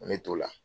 Ne t'o la